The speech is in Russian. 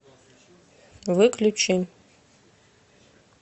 выключи